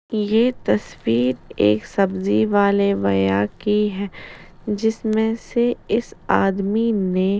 ये तस्वीर एक सब्जी वाले भैया की है जिसमे से इस आदमी ने --